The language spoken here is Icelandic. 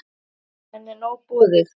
Henni er nóg boðið.